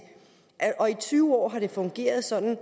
tyve år har det fungeret sådan og